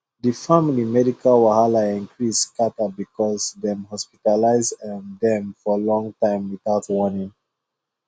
the family medical wahala increase scatter because dem hospitalize um dem for long time without warning